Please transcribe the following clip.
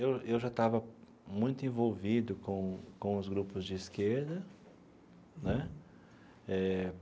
Eu eu já estava muito envolvido com com os grupos de esquerda né eh.